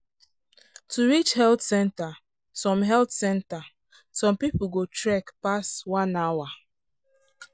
to reach health center some health center some people go trek pass one hour.